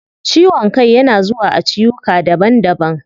Ciwon kai yana zuwa a ciwuka daban daban